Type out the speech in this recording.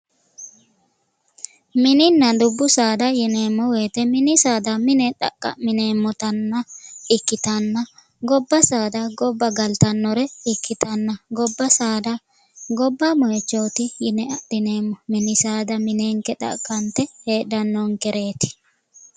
mininna dubbu saada yineemmo wote mini saada mine xaqqamineemmotanna ikkitanna gobba saada gobba galtannore ikkitanna gobba saada gobba moyiichooti yine adhineemmo mini saada minenke xaqqanxe heedhdhannonkereeti?